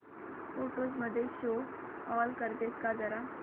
photos मध्ये show all करतेस का जरा